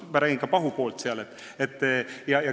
Noh, ma räägin ka pahupoolest.